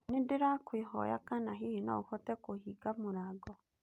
Ndĩrakũĩhoya kana hihi no ũhote kũhinga mũrango?